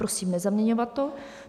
Prosím, nezaměňovat to.